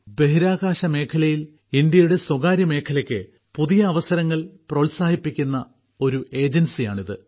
ബഹിരാകാശ മേഖലയിൽ ഇന്ത്യയുടെ സ്വകാര്യമേഖലയ്ക്ക് പുതിയ അവസരങ്ങൾ പ്രോത്സാഹിപ്പിക്കുന്ന ഒരു ഏജൻസിയാണിത്